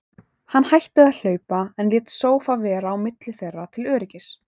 Hann hætti að hlaupa, en lét sófa vera á milli þeirra til öryggis.